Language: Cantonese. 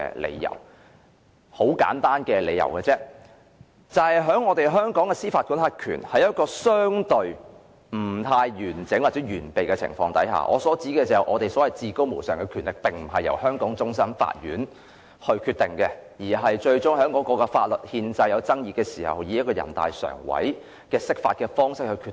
理由很簡單，香港的司法管轄權相對不完整或完備，所謂至高無上的權力並不在於香港終審法院，當出現法律憲制爭議時，最終會以全國人民代表大會常務委員會釋法的方式來決定。